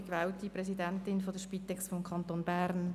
Ich bin gewählte Präsidentin der Spitex des Kantons Bern.